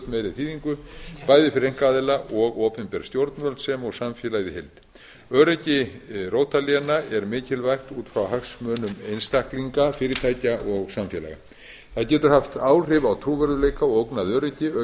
meiri þýðingu bæði fyrir einkaaðila og opinber stjórnvöld sem og samfélagið í heild öryggi rótarléna er mikilvægt út frá hagsmunum einstaklinga fyrirtækja og samfélaga það getur haft áhrif á trúverðugleika og ógnað öryggi auk